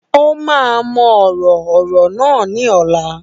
Ó máa mọ ọ̀rọ̀ ọ̀rọ̀ náà ní ọ̀la